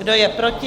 Kdo je proti?